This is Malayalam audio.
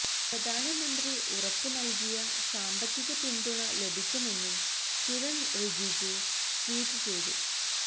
പ്രധാനമന്ത്രി ഉറപ്പ് നല്കിയ സാമ്പത്തിക പിന്തുണ ലഭിക്കുമെന്നും കിരണ് റിജിജു ട്വീറ്റ് ചെയ്തു